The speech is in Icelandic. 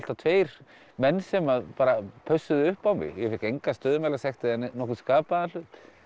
tveir menn sem pössuðu upp á mig ég fékk enga stöðumælasekt eða nokkurn skapaðan hlut